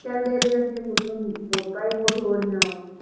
ਕਹਿੰਦੇ ਅਜਕਲ ਕਿ ਮਤਲਬ ਮੌਤਾਂ ਹੀ ਬਹੁਤ ਹੋ ਰਹੀਆਂ ਵਾ